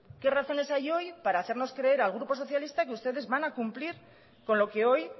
qué razones hay hoy para hacernos creer al grupo socialista que ustedes van a cumplir con lo que hoy